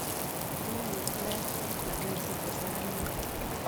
Mining' kiplengwet lakini sichei saramek.